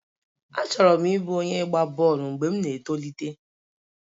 Achọrọ m ịbụ onye ịgba bọọlụ mgbe m na-etolite.